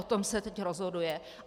O tom se teď rozhoduje.